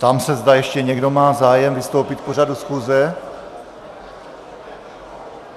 Ptám se, zda ještě někdo má zájem vystoupit k pořadu schůze.